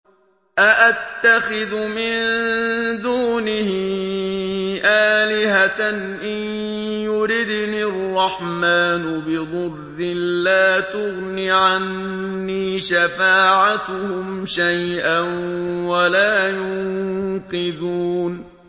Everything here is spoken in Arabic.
أَأَتَّخِذُ مِن دُونِهِ آلِهَةً إِن يُرِدْنِ الرَّحْمَٰنُ بِضُرٍّ لَّا تُغْنِ عَنِّي شَفَاعَتُهُمْ شَيْئًا وَلَا يُنقِذُونِ